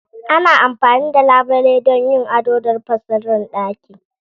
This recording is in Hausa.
Ana amfani da labule don yin ado da rufe sirrin ɗaki.